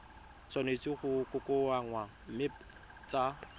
tshwanetse go kokoanngwa mme tsa